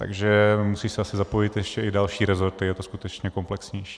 Takže musí se asi zapojit ještě i další resorty, je to skutečně komplexnější.